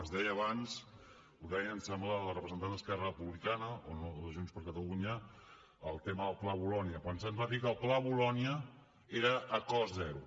es deia abans ho deia em sembla la representant d’esquerra republicana o de junts per catalunya el tema del pla bolonya quan se’ns va dir que el pla bolonya era a cost zero